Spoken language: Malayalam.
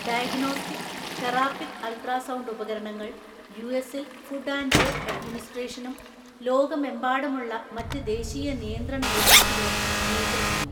ഡയഗ്നോസ്റ്റിക്, തെറാപ്പിക്ക് അൾട്രാസൗണ്ട് ഉപകരണങ്ങൾ യുഎസിൽ ഫുഡ് ആൻഡ് ഡ്രഗ് അഡ്മിനിസ്ട്രേഷനും ലോകമെമ്പാടുമുള്ള മറ്റ് ദേശീയ നിയന്ത്രണ ഏജൻസികളും നിയന്ത്രിക്കുന്നു.